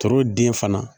Turu den fana